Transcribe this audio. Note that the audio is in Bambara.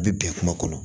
A bɛ bɛn kungo kɔnɔ